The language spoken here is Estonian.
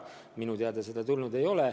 Minu teada seda tulnud ei ole.